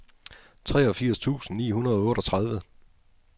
treogfirs tusind ni hundrede og otteogtredive